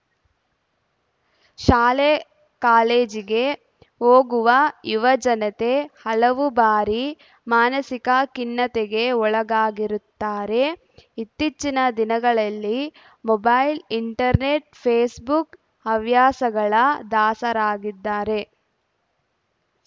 ಶಾಲೆ ಕಾಲೇಜಿಗೆ ಹೋಗುವ ಯುವಜನತೆ ಹಲವು ಬಾರಿ ಮಾನಸಿಕ ಖಿನ್ನತೆಗೆ ಒಳಗಾಗಿರುತ್ತಾರೆ ಇತ್ತೀಚಿನ ದಿನಗಳಲ್ಲಿ ಮೊಬೈಲ್‌ ಇಂಟರ್‌ನೆಟ್‌ ಫೇಸ್‌ಬುಕ್‌ ಹವ್ಯಾಸಗಳ ದಾಸರಾಗಿದ್ದಾರೆ